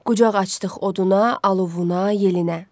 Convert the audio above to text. Qucaq açdıq oduna, alovuna, yelinə.